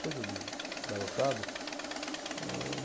Coisa de garotada. Âh